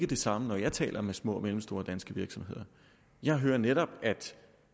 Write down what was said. det samme når jeg taler med små og mellemstore danske virksomheder jeg hører netop at